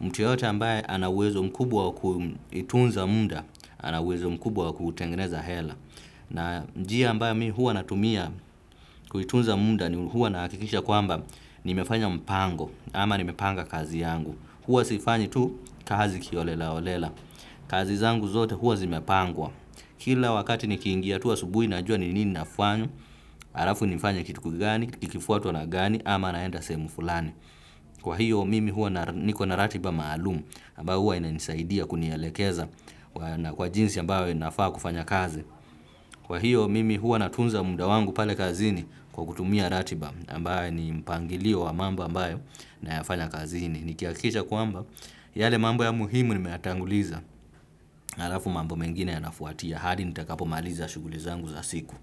mtu yoyote ambaye ana uwezo mkubwa wa kutunza muda ana uwezo mkubwa wa kutengneza hela na njia ambayo mimi huwa natumia kutunza muda huwa nahakikisha kwamba nimefanya mpango ama ni mepanga kazi yangu huwa sifanyi tu kazi kiholela holela. Kazi zangu zote huwa zimepangwa. Kila wakati nikiingia tu asubuhi najua ni nini nafanya halafu nifanye kitu kigani, kikifwatwa na gani ama naenda sehemu fulani. Kwa hio, mimi huwa niko na ratiba maalum ambayo huwa inanisaidia kunielekeza na kwa jinsi ambayo nafaa kufanya kazi. Kwa hio mimi huwa natunza muda wangu pale kazini kwa kutumia ratiba ambayo ni mpangilio wa mambo ambayo nayafanya kazini, nikihakikisha kwamba yale mambo ya muhimu nimeyatanguliza halafu mambo mengine yanafwatia hadi nitakapo maliza shughuli zangu za siku.